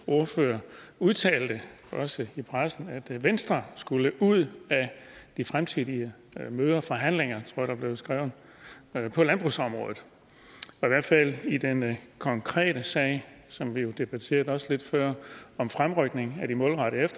ordfører udtalte i pressen at venstre skulle ud af de fremtidige møder og forhandlinger tror jeg der blev skrevet på landbrugsområdet og i hvert fald i den konkrete sag som vi jo også debatterede lidt før om fremrykning af de målrettede